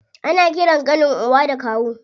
Ana ƙiran ƙanin uba da kawu.